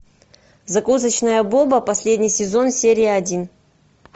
закусочная боба последний сезон серия один